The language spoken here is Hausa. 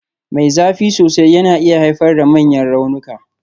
Mai zafi sosai yana iya haifar da manyan raunuka.